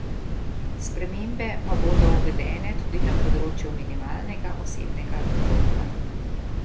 Spremembe pa bodo uvedene tudi na področju minimalnega osebnega dohodka.